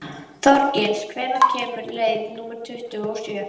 Þorgils, hvenær kemur leið númer tuttugu og sjö?